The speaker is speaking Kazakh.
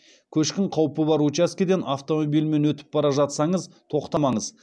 көшкін қаупі бар учаскеден автомобильмен өтіп бара жатсаңыз тоқтамаңыз